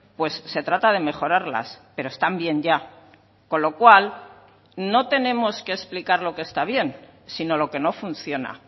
pues se trata de mejorarlas pero están bien ya con lo cual no tenemos que explicar lo que está bien sino lo que no funciona